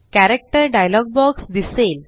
character dialogue box दिसेल